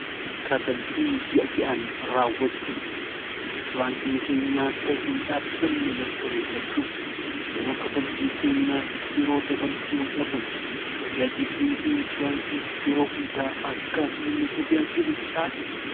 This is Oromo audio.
kafaltii ji'a ji'aan raawwachuun inshuraansiin keenyaa akka hin dhaabanne mirkaneeffachuuf yeroo kafaltii keenyaaf yeroo dabarsuu dhabuun tajaajillii inshuraansii yeroo hundaa akka nu tajaajilu taasisa